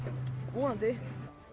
vonandi